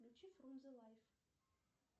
включи фрунзе лайф